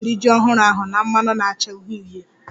Anyị ga-eri ji ọhụrụ ahụ na mmanụ na-acha uhie uhie